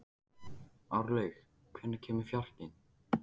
Árlaug, hvenær kemur fjarkinn?